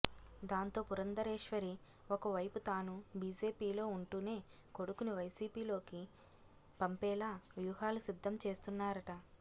దాంతో పురంధరేశ్వరి ఒక వైపు తానూ బీజేపీలో ఉంటూనే కొడుకుని వైసీపీలోకి పంపేలా వ్యూహాలు సిద్దం చేస్తున్నారట